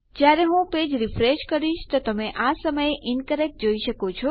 જયારે હું page refresh કરીશ તો તમે આ સમયે ઇન્કરેક્ટ જોઈ શકો છો